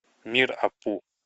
мир апу